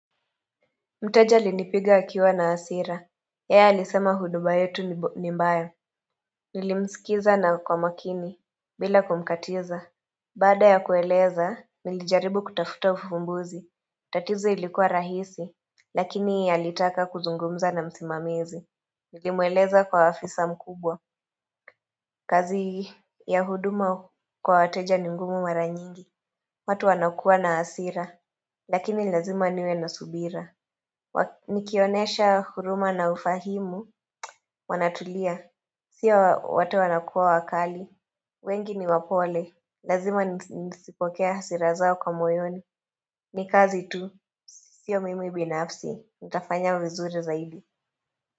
Mteja alinipiga akiwa na hasira. Yeye alisema huduma yetu ni mbaya. Nilimsikiliza na kwa makini. Bila kumkatiza. Baada ya kueleza, nilijaribu kutafuta ufumbuzi. Tatizo ilikuwa rahisi. Lakini alitaka kuzungumza na msimamizi. Nilimueleza kwa afisa mkubwa. Kazi ya huduma kwa wateja ni ngumu mara nyingi. Watu wanakua na hasira. Lakini lazima niwe na subira. Nikionesha huruma na ufahimu Wanatulia Sio wote wanakuwa wakali wengi ni wapole Lazima nizipokee hasira zao kwa moyoni Nikazi tu siyo mimi binafsi Nitafanya vizuri zaidi.